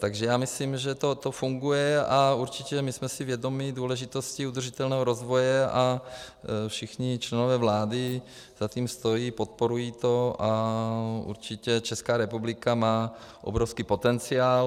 Takže já myslím, že to funguje, a určitě my jsme si vědomi důležitosti udržitelného rozvoje a všichni členové vlády za tím stojí, podporují to a určitě Česká republika má obrovský potenciál.